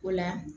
O la